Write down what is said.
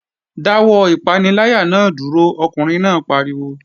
Dáwọ́ ìpaniláyà náà dúró! Ọkùnrin náà pariwo